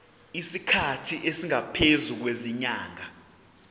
isikhathi esingaphezulu kwezinyanga